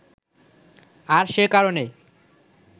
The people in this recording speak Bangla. আর সে কারণে